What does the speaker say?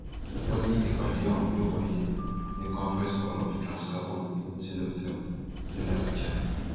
ó ní ìpàdé ọhún yóò wáyé ní congress hall of transcarbon hilton hotel nílùú àbújá